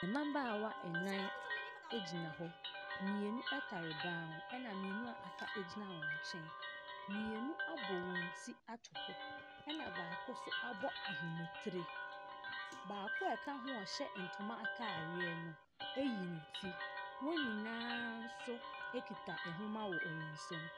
Mabaawa nan gyina hɔ. Mmienu tare ban ho, ɛna mmienu a aka gyina wɔn nkyɛn. Mmienu abɔ wɔn ti ato hɔ. Ɛna baako nso abɔ ahoma tire. Baako a ɔka ho a ɔhyɛ ntoma ataareɛ no, ayi ne ti. Wɔn nyinaa nso kita nwoma wɔ wɔn nsam.